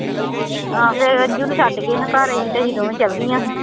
ਹਾਂ ਫਿਰ ਅੰਜੂ ਨੂੰ ਛੱਡ ਗਏ ਹਾਂ ਘਰ ਅਸੀਂ ਤੇ ਅਸੀਂ ਦੋਵੇਂ ਚਲੇ ਗਈਆਂ ਸੀ।